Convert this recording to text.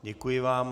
Děkuji vám.